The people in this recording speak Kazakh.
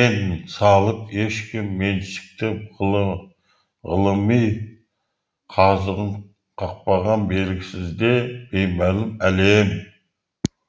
ен салып ешкім меншіктеп ғылыми қазығын қақпаған белгісіз де беймәлім әлем